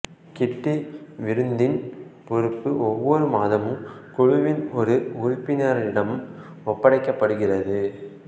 கிட்டி விருந்தின் பொறுப்பு ஒவ்வொரு மாதமும் குழுவின் ஒரு உறுப்பினரிடம் ஒப்படைக்கப்படுகிறது